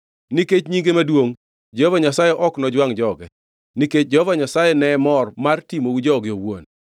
Nikech nyinge maduongʼ, Jehova Nyasaye ok nojwangʼ joge, nikech Jehova Nyasaye ne mor mar timou joge owuon.